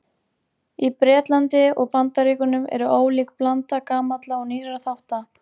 Í Bretlandi og Bandaríkjunum er ólík blanda gamalla og nýrra þátta.